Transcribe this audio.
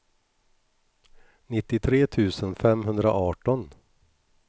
nittiotre tusen femhundraarton